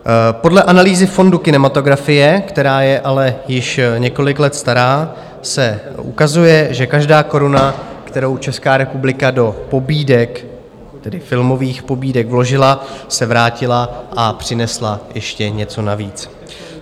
Podle analýzy fondu kinematografie, která je ale již několik let stará, se ukazuje, že každá koruna, kterou Česká republika do pobídek, tedy filmových pobídek, vložila, se vrátila a přinesla ještě něco navíc.